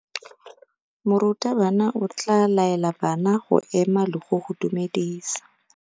Morutabana o tla laela bana go ema le go go dumedisa.